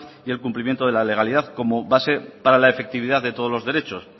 y el cumplimiento de la legalidad como base para la efectividad de todos los derechos